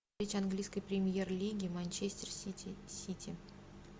встреча английской премьер лиги манчестер сити с сити